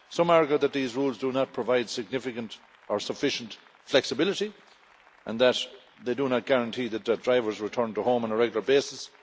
Some argue that these rules do not provide significant or sufficient flexibility and that they do not guarantee that drivers return to home on a regular basis.